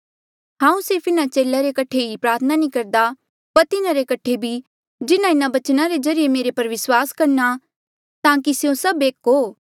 हांऊँ सिर्फ इन्हा चेले रे कठे ई प्रार्थना नी करदा पर तिन्हारे कठे भी जिन्हा इन्हा बचना रे ज्रीए मेरे पर विस्वास करणा ताकि स्यों सब एक हो